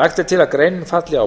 lagt er til að greinin falli